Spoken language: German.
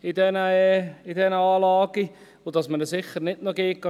Man gibt ihnen sicher nicht noch Geld.